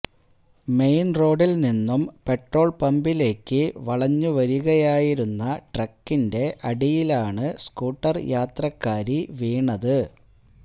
main റോഡില് നിന്നും petrol പമ്പിലേക്കു വളഞ്ഞു വരികയായിരുന്ന ട്രക്കിന്റെ അടിയിലാണു സ്കൂട്ടര് യാത്രക്കാരി വീണത്